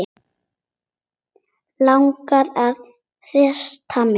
Langar að hrista mig til.